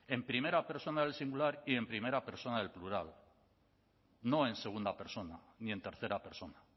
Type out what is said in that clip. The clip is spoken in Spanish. en primera persona del singular y en primera persona del plural no en segunda persona ni en tercera persona